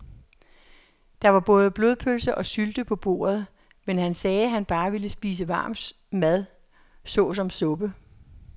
Der var både blodpølse og sylte på bordet, men han sagde, at han bare ville spise varm mad såsom suppe.